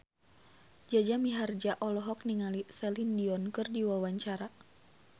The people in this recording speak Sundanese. Jaja Mihardja olohok ningali Celine Dion keur diwawancara